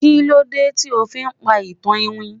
kilode ti o fi pa itan iwin